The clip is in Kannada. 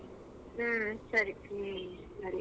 ಹ್ಮ್‌ ಸರಿ.